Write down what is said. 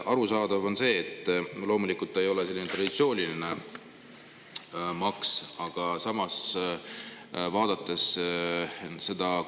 Arusaadav on, et loomulikult ei ole selline traditsiooniline maks.